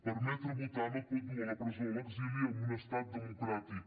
permetre votar no et pot dur a la presó o a l’exili en un estat democràtic